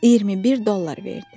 21 dollar verdi.